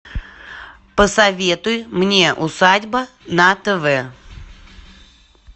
посоветуй мне усадьба на тв